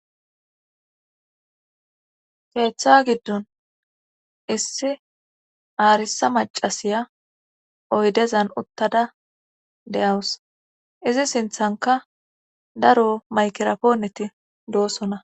Keeththa giddon issi aarisa macasiya oydezan uttada deyawus izi sinthanka daro maykira pooneti doosona.